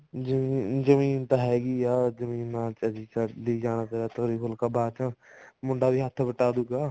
ਜਮੀਨ ਜਮੀਨ ਤਾਂ ਹੈਗੀ ਆ ਜਮੀਨ ਨਾਲ ਤਾਂ ਚੱਲੋ ਜਾਂਦਾ ਤੋਰੀ ਫੁਲਕਾ ਬਾਅਦ ਚ ਮੁੰਡਾ ਵੀ ਹੱਥ ਵਟਾ ਦੁਗਾ